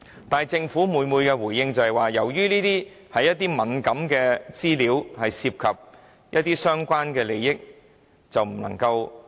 但是，政府每次的回應也是：由於這些文件是敏感資料，涉及相關的利益，因此不能提供。